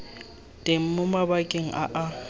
teng mo mabakeng a a